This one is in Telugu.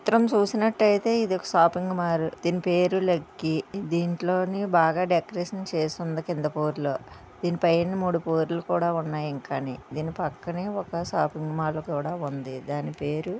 చిత్రం చూసినట్టయితే ఇది ఒక షాపింగ్ మాల్ దీని పేరు లక్కీ దీంట్లోనీ బాగా డెకరేషన్ చేసి ఉంది కింద బోర్డు లో దీనిపైన మూడు బోర్డు లు కూడా ఉన్నాయి ఇంకా అని దీని పక్కనే షాపింగ్ మాల్ కూడా ఉంది దాని పేరు--